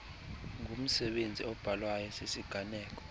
ngumsebenzi obhalwayo sisiganeko